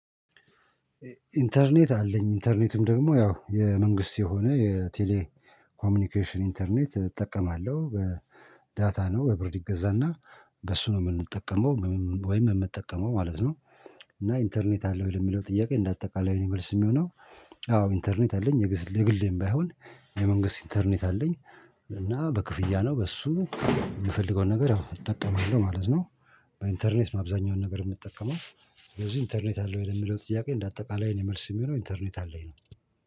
ኢንተርኔት አለኝ ኢንተርኔትም ደግሞ ያው የመንግስት የሆነ የቴሌ ኮሚኒኬሽን ኢንተርኔት እጠቀማለሁ በዳታ ነው በብር ይገዛና በሱ ነው የምንጠቀመው ወይም የምጠቀመው ማለት ነው እና ኢንተርኔት አለህ ወይ? ለሚለው ጥያቄ እንደ አጠቃላይ ለኔ መልስ የሚሆነው አዎ ኢንተርኔት አለኝ የግሌም ባይሆን የመንግስት ኢንተርኔት አለኝ እና በክፍያ ነው በሱ የምፈልገውን ነገር ያው እጠቀማለሁ ማለት ነው በኢንተርኔት ነው አብዛኛውን ነገር የምጠቀመው ስለዚህ ኢንተርኔት አለህ ወይ ለሚለው ጥያቄ እንደ አጠቃላይ ለኔ መልስ የሚሆነው ኢንተርኔት አለኝ ነው